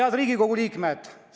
Head Riigikogu liikmed!